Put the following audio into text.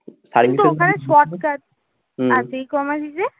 ecommerce is a